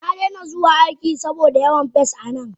Nadaina zuwa aiki saboda yawan pests a nan.